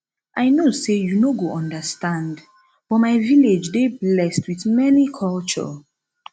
i no say you no go understand but my village dey blessed with many culture